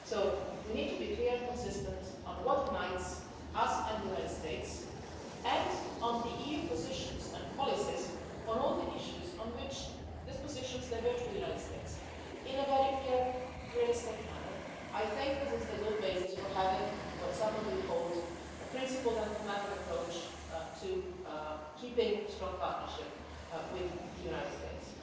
So we need to be clear and consistent on what unites us and the United States, and on the EU positions and policies on all the issues where these positions diverge with the United States, in a very clear, realistic manner. I think this is a good basis for having what some of you called a principled and pragmatic approach' to keeping a strong partnership with the United States.